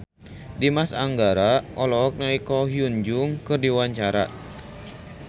Dimas Anggara olohok ningali Ko Hyun Jung keur diwawancara